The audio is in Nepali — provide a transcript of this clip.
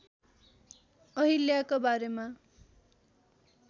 अहिल्याका बारेमा